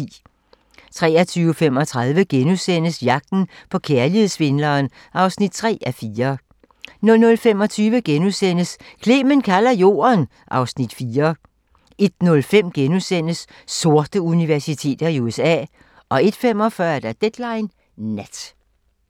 23:35: Jagten på kærlighedssvindleren (3:4)* 00:25: Clement kalder Jorden (Afs. 4)* 01:05: Sorte universiteter i USA * 01:45: Deadline Nat